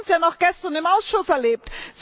Wir haben es ja noch gestern im Ausschuss erlebt.